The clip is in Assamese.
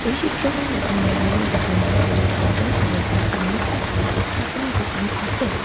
এই চিত্ৰখনত এখন গেলামালৰ দোকান দেখিবলৈ পোৱা গৈছে আৰু তাৰ সন্মুখত এখন শাক-পাছলিৰ দোকান আছে।